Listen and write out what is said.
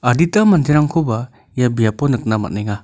adita manderangkoba ia biapo nikna man·enga.